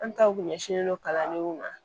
An taw kun ɲɛsinlen don kalandenw ma